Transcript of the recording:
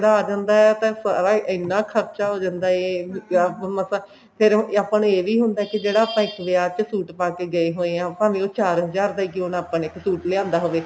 ਆ ਜਾਂਦਾ ਤਾਂ ਸਾਰਾ ਇੰਨਾ ਖਰਚਾ ਹੋ ਜਾਂਦਾ ਐ ਮਤਲਬ ਫੇਰ ਆਪਾਂ ਨੂੰ ਇਹ ਵੀ ਹੁੰਦਾ ਕਿ ਜਿਹੜਾ ਆਪਾਂ ਇੱਕ ਵਿਆਹ ਚ suit ਪਾਕੇ ਗਏ ਹੋਏ ਹਾਂ ਭਾਵੇਂ ਉਹ ਚਾਰ ਹਜਾਰ ਦਾ ਕਿਉਂ ਨਾ ਆਪਾ ਨੇ ਇੱਕ suit ਲਿਆਂਦਾ ਹੋਵੇ